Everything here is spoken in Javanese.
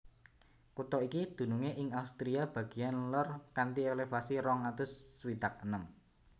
Kutha iki dunungé ing Austria bagéan lor kanthi elevasi rong atus swidak enem